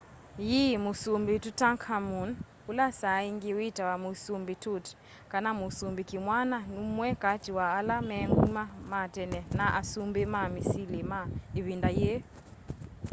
yii musumbi tutankhamun ula saaingi witawa musumbi tut kana musumbi kimwana numwe kati wa ala me nguma ma tene na asumbi ma misili ma ivinda yii